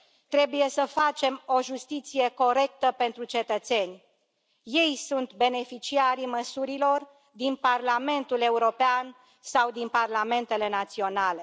Trebuie să facem o justiție corectă pentru cetățeni, ei sunt beneficiarii măsurilor din Parlamentul European sau din parlamentele naționale.